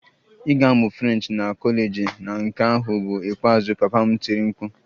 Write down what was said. Ị ga-amụ French na kọleji na nke ahụ bụ ikpeazụ! Papa m tiri mkpu